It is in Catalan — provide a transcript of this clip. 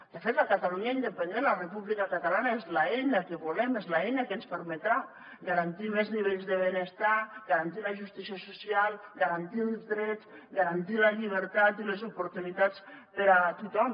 de fet la catalunya independent la república catalana és l’eina que volem és l’eina que ens permetrà garantir més nivells de benestar garantir la justícia social garantir els drets garantir la llibertat i les oportunitats per a tothom